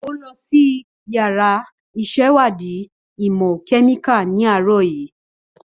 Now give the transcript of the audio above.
Ó lọ sí yàrá ìṣèwádìí ìmọ̀ kẹ́míkà ní àárọ̀ yìí.